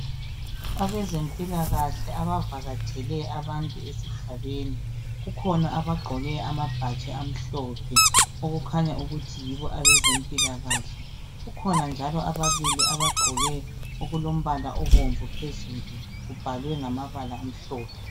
Abezempilakahle, abavakatshele abantu esigabeni. Kukhona abagqoke. amabhatshi amhlophe, okukhanya ukuthi yibo abezempilakahle. Kukhona njalo ababili, abagqoke okulombala obomvu phezulu. Kubhalwe ngamabala amhlophe.